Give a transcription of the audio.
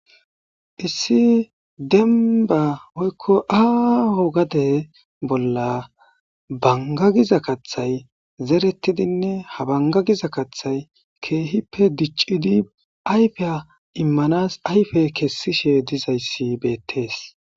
Issi demba oykko aaho gade bolla banga giza kathay zerettidinne habanga giza kathay keehippe diccidi ayfeya immanas ayfe kessishe dizayssi beettees.